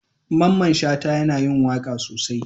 Mamman Shata yana yin waka sosai.